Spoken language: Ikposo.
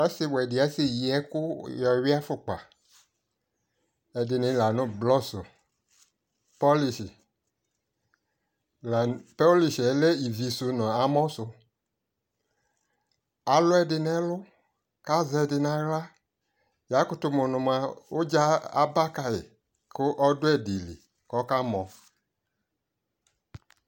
ɛtʋfʋɛ alikʋ ɛtʋfʋɛ dini ayɛ fʋɛ nʋ ɛdini, ɛdiniɛ ayɔ ɛkʋ vɛ yɔ ladʋ nʋ ʋti kʋ ɛtʋfʋɛ alʋ wani adʋ awʋ ɔwɛ kʋ ʋmɛ sʋɛ lɛ ɛƒʋɛ kʋ ayɔ ɛkʋ blɔ yɔ wʋʋ kʋ alʋɛdini ka vi ikpɛ nʋ ʋdʋnʋ lɔɛ